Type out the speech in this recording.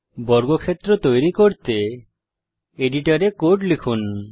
বর্গক্ষেত্র তৈরী করতে এডিটর এ কোড লিখুন